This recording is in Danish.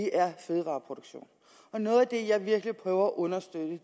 er fødevareproduktion og noget af det jeg virkelig prøver at understøtte